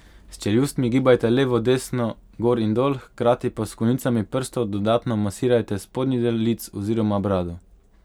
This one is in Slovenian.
S čeljustmi gibajte levo in desno, gor in dol, hkrati pa s konicami prstov dodatno masirajte spodnji del lic oziroma brado.